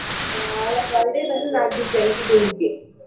ಆಹ್ ಅವಳ birthday ಬಂದು ನಾಡ್ದು twenty-two ಗೆ.